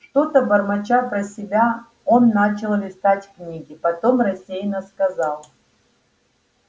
что-то бормоча про себя он начал листать книги потом рассеянно сказал